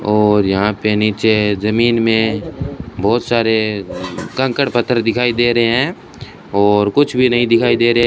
और यहां पर नीचे जमीन में बहुत सारे कंकड़ पत्थर दिखाई दे रहे हैं और कुछ भी नहीं दिखाई दे रहे --